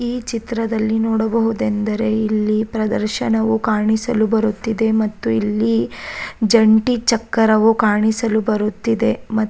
ಈ ಚಿತ್ರದಲ್ಲಿ ನೋಡಬಹುದೆಂದರೆ ಇಲ್ಲಿ ಪ್ರದರ್ಶನವು ಕಾಣಿಸಲು ಬರುತ್ತಿದೆ ಮತ್ತೆ ಇಲ್ಲಿ ಜಂಟಿ ಚಕ್ಕರವು ಕಾಣಿಸಲು ಬರುತ್ತಿದೆ ಮ --